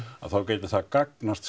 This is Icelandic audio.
þá gæti það gagnast